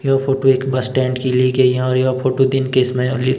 यह फोटो एक bus stand की ली गयी है और यह फोटो दिन के समय ली ग --